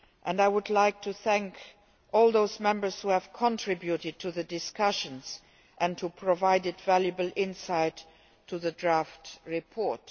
I would also like to thank all those Members who contributed to the discussions and provided valuable insight to the draft report.